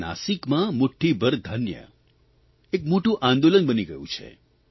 નાસીકમાં મુઠ્ઠીભર ધાન્ય એક મોટું આંદોલન બની ગયું છે